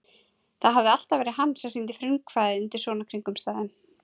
Það hafði alltaf verið hann sem sýndi frumkvæðið undir svona kringumstæðum.